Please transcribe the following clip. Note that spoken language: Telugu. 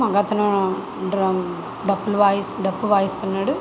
మగ అతను డప్పులు వాయిస్తు డప్పులు వాయిస్తున్నాడు.